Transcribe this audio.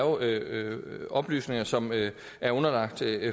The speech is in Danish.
oplysninger som er underlagt